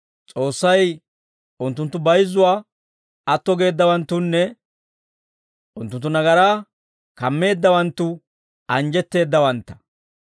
«S'oossay unttunttu bayizzuwaa atto geeddawanttunne unttunttu nagaraa kammeeddawanttu anjjetteeddawantta.